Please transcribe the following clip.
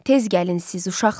Tez gəlin siz, uşaqlar.